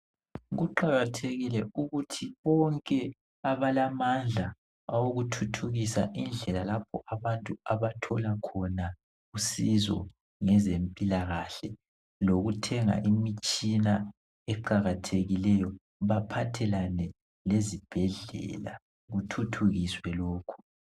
Kuqakathekile ukuthi bonke abalamandla awokuthuthukisa indlela lapho abantu abathola khona usizo ngezempilakahle lokuthenga imitshina eqakathekileyo baphathelane lezibhedlela kuthuthukiswe lokho